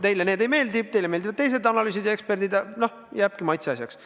Teile need ei meeldi, teile meeldivad teised analüüsid ja eksperdid – noh, jääbki maitseasjaks.